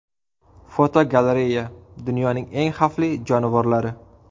Fotogalereya: Dunyoning eng xavfli jonivorlari.